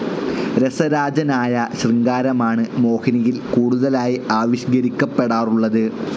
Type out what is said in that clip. രസരാജനായ ശൃംഗാരമാണ് മോഹിനിയിൽ കൂടുതലായി ആവിഷ്കരിക്കപ്പെടാറുള്ളത്.